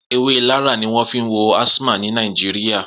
Ewé Larra ni wọn fi ń wo asthma ní Nàìjíríyà